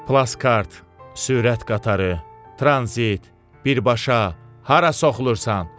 Plas kart, sürət qatarı, tranzit, birbaşa, hara soxulursan?